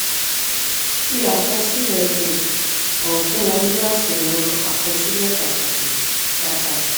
fi àkọsílẹ̀ um hàn fún wọn ní asuwon àkọsílẹ̀ pàtàkì. pàtàkì.